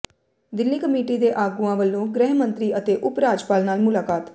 Delhi committee ਦੇ ਆਗੂਆਂ ਵੱਲੋਂ ਗ੍ਰਹਿ ਮੰਤਰੀ ਅਤੇ ਉਪ ਰਾਜਪਾਲ ਨਾਲ ਮੁਲਾਕਾਤ